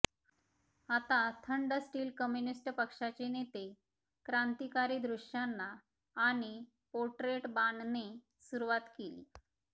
आता थंड steel communist पक्षाचे नेते क्रांतिकारी दृश्यांना आणि पोट्रेट बाणणे सुरुवात केली